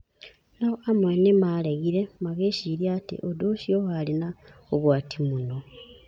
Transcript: No amwe nĩ maaregire, magĩĩciria atĩ ũndũ ũcio warĩ na ũgwati mũno.